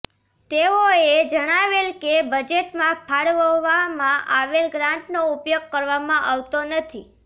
તેઓએ જણાવેલ કે બજેટમાં ફાળવવામાં આવેલ ગ્રાન્ટનો ઉપયોગ કરવામાં આવતો નથી